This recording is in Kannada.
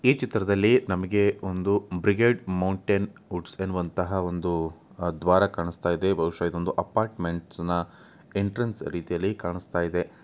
ಈ ಚಿತ್ರದಲ್ಲಿ ನಮಗೆ ಒಂದು ಬ್ರಿಗೇಡ್ ಮೌಂಟೇನ್ ಗೂಡ್ಸ್ ಎನ್ನುವಂತಹ ಒಂದು ದ್ವಾರ ಕಾಣಸ್ತಾಯಿದೆ ಬಹುಶ ಇದು ಒಂದು ಅಪಾರ್ಟ್ಮೆಂಟ್ಸ್ನ ಎಂಟ್ರೆನ್ಸ್ ರೀತಿಯಲ್ಲಿ ಕಾಣಸ್ತಾಯಿದೆ.